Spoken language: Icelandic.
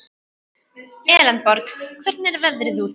Elenborg, hvernig er veðrið úti?